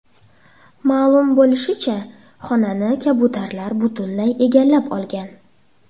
Ma’lum bo‘lishicha, xonani kabutarlar butunlay egallab olgan.